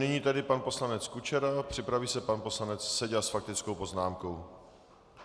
Nyní tedy pan poslanec Kučera, připraví se pan poslanec Seďa s faktickou poznámkou.